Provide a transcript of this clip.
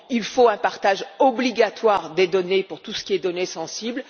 Il faut un partage obligatoire des données pour tout ce qui est données sensibles.